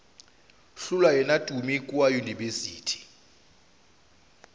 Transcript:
hlola yena tumi kua yunibesithing